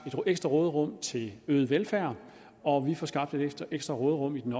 et ekstra råderum til øget velfærd og vi får skabt et ekstra råderum i den